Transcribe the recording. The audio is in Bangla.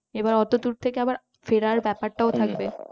আবার অতদূর থেকে আবার ফেরার ব্যাপাটাও থাকবে